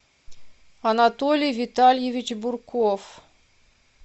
анатолий витальевич бурков